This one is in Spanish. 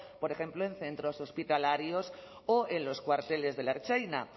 por ejemplo en centros hospitalarios o en los cuarteles de ertzaintza